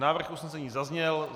Návrh usnesení zazněl.